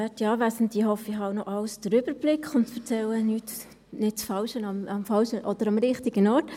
Ich hoffe, ich habe noch den Überblick über alles und erzähle nicht das Falsche – respektive am richtigen Ort.